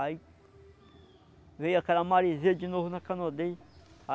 Aí... Veio aquela maresia de novo na canoa dele.